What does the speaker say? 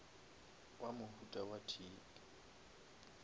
wa mohuta wa tic